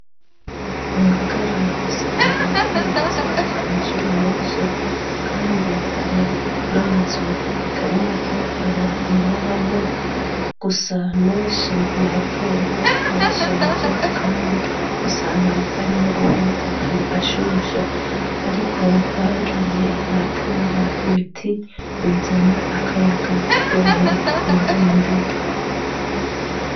mu ngagara usanga hubatswe amashuri menshi kandi hari n'amazu atari make abantu babamwo gusa menshi n'ayakera yarashaje kandi usanga ari magufi magufi ashushe ariko bagiye baratera ibiti bizana akayaga kugira ngo birinde